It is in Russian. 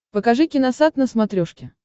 покажи киносат на смотрешке